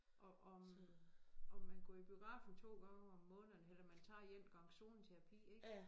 Og om om man går i biografen 2 gange om måneden eller man tager 1 gang zoneterapi ik